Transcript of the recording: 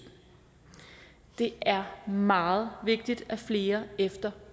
det er meget vigtigt at flere efter